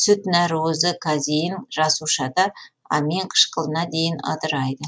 сүт нәруызы казеин жасушада аминқышқылына дейін ыдырайды